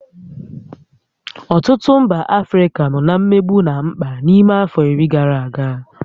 Ọtụtụ mba Africa nọ na mmegbu na mkpa n'ime afọ iri gara aga